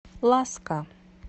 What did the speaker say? ласка